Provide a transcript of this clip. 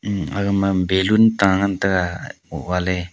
hm aga ma balloon ta ngan tai ga .]